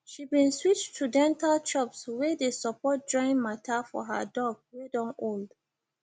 she been switch to dental chops wey dey support joint matter for her dog wey don old